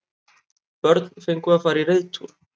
Börn fengu að fara í reiðtúr